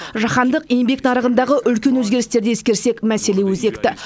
жаһандық еңбек нарығындағы үлкен өзгерістерді ескерсек мәселе өзекті